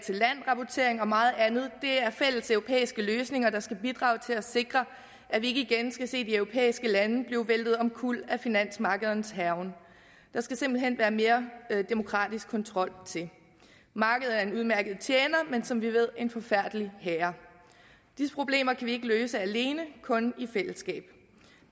rapportering og meget andet er fælles europæiske løsninger der skal bidrage til at sikre at vi ikke igen skal se de europæiske lande blive væltet omkuld af finansmarkedernes hærgen der skal simpelt hen være mere demokratisk kontrol markedet er en udmærket tjener men som vi ved en forfærdelig herre disse problemer kan vi ikke løse alene kun i fællesskab og